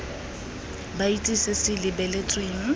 ba itse se se lebeletsweng